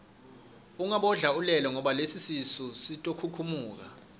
ungabodla ulele ngoba lesisu sitokhukhumuka